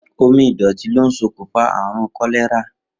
Omi ìdò̩tí ló ń s̩okùnfà àrùn kó̩lé̩rà